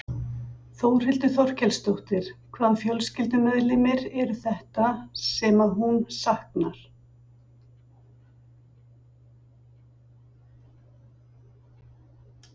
Þórhildur Þorkelsdóttir: Hvaða fjölskyldumeðlimir eru þetta sem að hún saknar?